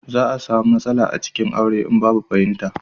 za a samu matsala a cikin aure in babu fahimta